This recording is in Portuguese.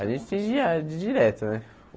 A gente tem dire direto, né?